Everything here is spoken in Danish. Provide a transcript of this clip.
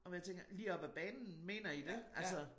Og hvor jeg tænker lige op ad banen mener i dét? Altså